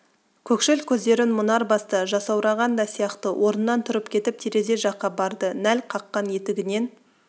көкшіл көздерін мұнар басты жасаураған да сияқты орнынан тұрып кетіп терезе жаққа барды нәл қаққан етігінен